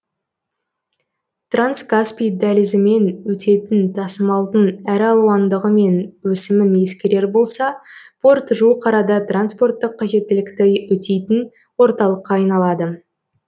транскаспий дәлізімен өтетін тасымалдың әр алуандығы мен өсімін ескерер болса порт жуық арада транспорттық қажеттілікті өтейтін орталыққа айналады